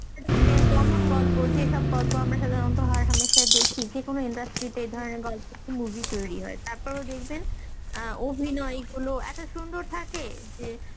এমন গল্প যেসব গল্প আমরা সাধারণত হয় হামেশাই দেখি, যেকোনো industry তে এ ধরনের গল্প একটি movie তৈরী হয় তারপরও দেখবেন অ্যাঁ অভিনয় গুলো এত সুন্দর থাকে যে